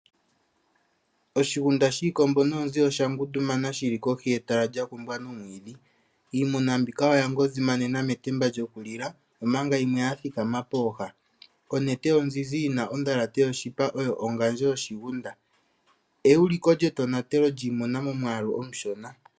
Oshigunda shiikombo noonzi osha ngundumana shili kohi yetala lya kumbwa nomwiidhi. Iimuna mbika oya ngozimanena metemba lyokulila omanga yimwe yathikama pooha. Onete onzinzi yina ondhalate yoshipa, oyo ongandjo yoshigunda. Euliko lyetonatelo lyiimuna momwaalu omushona.